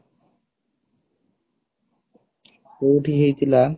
କୋଉଠି ହେଇଥିଲା